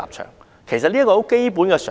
這其實是很基本的常識。